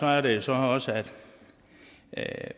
er det så også at